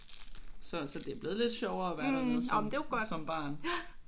Så så det er blevet lidt sjovere at være dernede som som barn